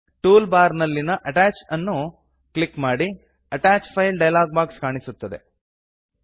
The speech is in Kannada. ಟೂಲ್ ಬಾರ್ ನಲ್ಲಿನ ಅಟ್ಯಾಚ್ ಅನ್ನು ಕ್ಲಿಕ್ ಮಾಡಿ ಅಟ್ಯಾಚ್ ಫೈಲ್ಸ್ ಡಯಲಾಗ್ ಬಾಕ್ಸ್ ಕಾಣಿಸುತ್ತದೆ